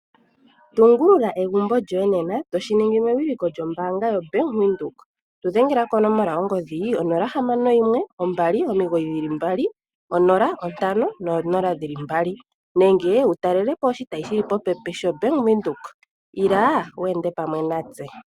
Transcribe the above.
Tungulula egumbo lyoye nena toshi ningi mewiliko lyombaanga yoBank Windhoek. Tudhengela konomola yongodhi 0612990500 nenge wutalelepo oshitayi shili popepi sho Bank Windhoek ila wu ende pamwe natse.